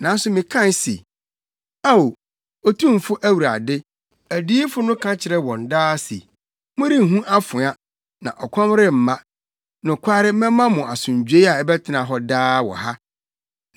Nanso mekae se, “Ao, Otumfo Awurade, adiyifo no ka kyerɛ wɔn daa se, ‘Morenhu afoa, na ɔkɔm remma. Nokware mɛma mo asomdwoe a ɛbɛtena hɔ daa wɔ ha.’ ”